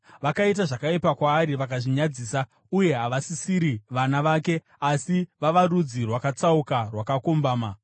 Vakaita zvakaipa kwaari; vakazvinyadzisa uye havasisiri vana vake, asi vava rudzi rwakatsauka rwakakombama,